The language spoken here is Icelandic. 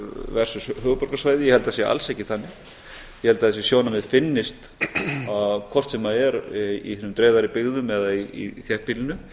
ég held að það sé alls ekki þannig ég held að þessi sjónarmið finnist hvort sem er í hinum dreifðari byggðum eða í þéttbýlinu